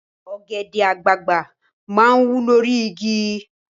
Ọ̀gẹ̀dẹ̀ àgbagbà máa ń wù lórí igi